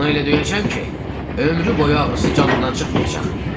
Onu elə döyəcəm ki, ömrü boyu ağrısı canından çıxmayacaq.